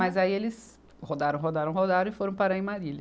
Mas aí eles rodaram, rodaram, rodaram e foram parar em Marília.